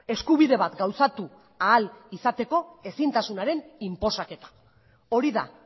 eskubide bat gauzatu ahal izateko ezintasunaren inposaketa hori da